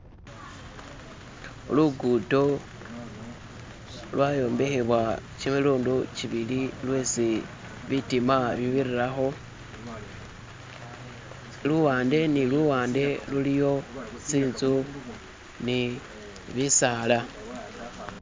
Lugudo lwayombekhebwa kimilundu kibili lwesi bitima bibirilakho luwande ni luwande luliyo tsinzu ni bisaala